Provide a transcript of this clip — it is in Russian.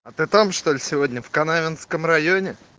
а ты там что ли сегодня в канавинском районе